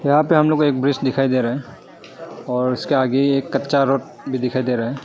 यहां पे हम लोग को एक ब्रिज दिखाई दे रहा है और उसके आगे एक कच्चा रोड भी दिखाई दे रहा है।